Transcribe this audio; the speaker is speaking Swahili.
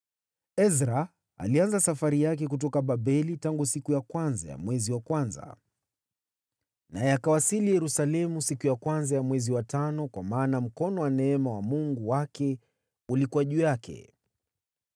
Ezra alianza safari yake kutoka Babeli tangu siku ya kwanza ya mwezi wa kwanza, naye akawasili Yerusalemu siku ya kwanza ya mwezi wa tano, kwa maana mkono wa neema wa Mungu wake ulikuwa juu yake.